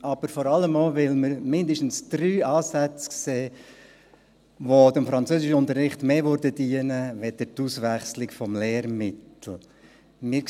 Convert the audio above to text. Aber vor allem auch, weil wir mindestens drei Ansätze sehen, die dem Französischunterricht mehr dienen würden, als die Auswechslung des Lehrmittels.